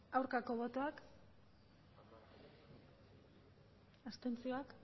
aurkako botoak abstentzioak